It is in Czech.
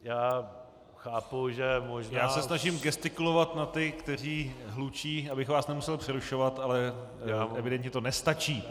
Já se snažím gestikulovat na ty, kteří hlučí, abych vás nemusel přerušovat, ale evidentně to nestačí.